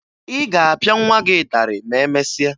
Ị ga-apịa nwa gị ịtarị ma emesịa